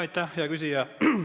Aitäh, hea küsija!